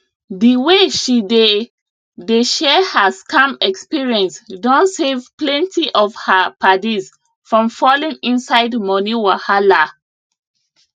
the way she dey dey share her scam experience don save plenty of her paddies from falling inside money wahala